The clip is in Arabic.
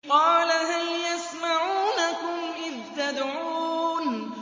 قَالَ هَلْ يَسْمَعُونَكُمْ إِذْ تَدْعُونَ